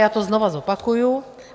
Já to znovu zopakuji.